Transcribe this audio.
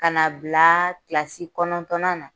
Kana bila kilasi kɔnɔntɔnna na.